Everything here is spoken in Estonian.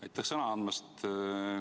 Aitäh sõna andmast!